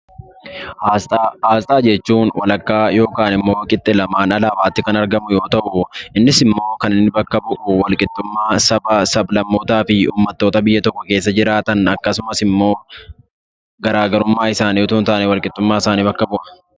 Asxaa Asxaa jechuun walakkaa yookaan immoo qixxe lamaan alaabaatti kan argamu yoo ta'u; innis immoo kan bakka bu'u wal qixxummaa sabaa, sab-lammootaa fi uummattoota biyya tokko keessa jiraatan; akkasumas immoo garaa garummaa isaanii utuu hin taane wal qixxummaa isaanii bakka bu'a.